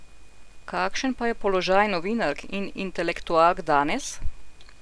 Kakšen pa je položaj novinark in intelektualk danes?